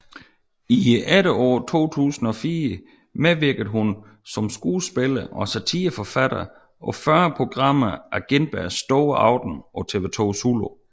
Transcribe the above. I efteråret 2004 medvirkede hun som skuespiller og satireforfatter på 40 programmer af Gintbergs store aften på TV 2 Zulu